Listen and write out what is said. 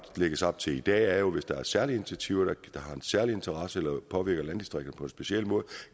lægges op til i dag er jo at hvis der er særlige initiativer der har en særlig interesse eller påvirker landdistrikterne på en speciel måde